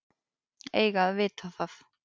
Eiga að vita það.